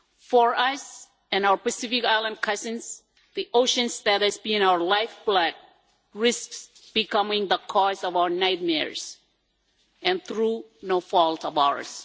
For us and our Pacific island cousins the ocean that has been our lifeblood risks becoming the cause of our nightmares and through no fault of ours.